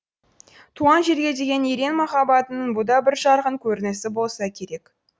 туған жерге деген ерен махаббатының бұ да бір жарқын көрінісі болса керек